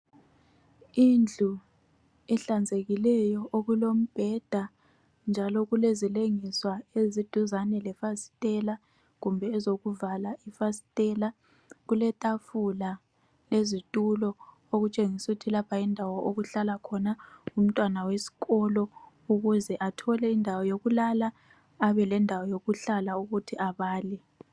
Indlu ehlanzekileyo. Okulombheda, njalo kulezilengiswa, eziduzane lefasitela. Kumbe ezokuvala ifasitela.. Kuletafula lezitulo. Okutshengisa ukuthi lapha yindawo, okuhlala khona umntwana wesikolo. Ukuze athole indawo yokulala. Abe lendawo yokuhlala, ukuthi abale.